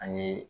An ye